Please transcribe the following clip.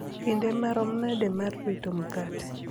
kinde marom nade mar rito mkate